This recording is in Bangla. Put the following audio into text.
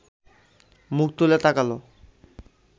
মুখ তুলে তাকাল